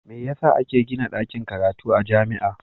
Me yasa ake Gina dakin karatu a jamia